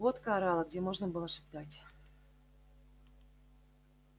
водка орала где можно было шептать